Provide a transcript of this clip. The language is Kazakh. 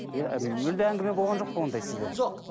иә мүлде әңгіме болған жоқ па ондай сізде жоқ